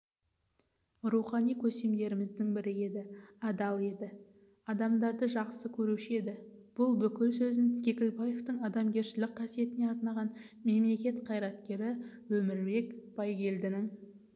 рухани көсемдеріміздің бірі еді адал еді адамдарды жақсы көруші еді бұл бүкіл сөзін кекілбаевтың адамгершілік қасиетіне арнаған мемлекет қайраткері өмірбек байгелдінің